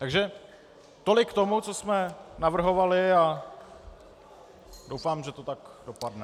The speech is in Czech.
Takže tolik k tomu, co jsme navrhovali, a doufám, že to tak dopadne.